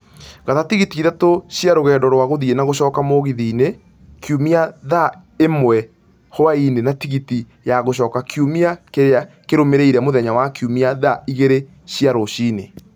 gata tigiti ithatũ cia rũgendo rwa gũthiĩ na gũcoka mũgithi -inĩ kiũmia thaa ĩmwe hwaĩinĩ na tigiti ya gũcoka kiumia kĩrĩa kĩrũmĩrĩire, mũthenya wa Kiumia thaa igĩrĩ cia rũcinĩ